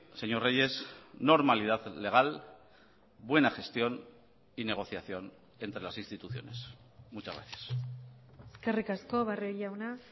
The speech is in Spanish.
señor reyes normalidad legal buena gestión y negociación entre las instituciones muchas gracias eskerrik asko barrio jauna